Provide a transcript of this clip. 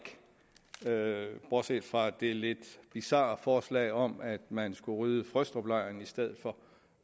bortset fra det lidt bizarre forslag om at man skulle rydde frøstruplejren i stedet for